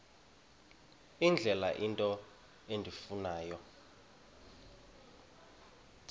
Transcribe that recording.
indlela into endifuna